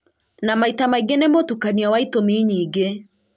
na maita maingĩ nĩ mũtukanio wa itũmi nyingĩ